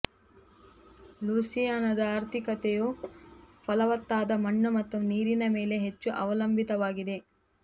ಲೂಯಿಸಿಯಾನದ ಆರ್ಥಿಕತೆಯು ಫಲವತ್ತಾದ ಮಣ್ಣು ಮತ್ತು ನೀರಿನ ಮೇಲೆ ಹೆಚ್ಚು ಅವಲಂಬಿತವಾಗಿದೆ